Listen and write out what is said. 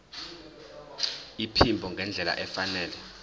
iphimbo ngendlela efanele